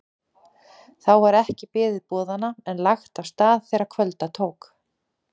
Þá var ekki beðið boðanna en lagt af stað þegar kvölda tók.